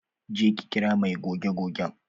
Je ki kira mai goge gogen!